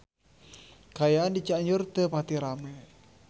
Kaayaan di Cianjur teu pati rame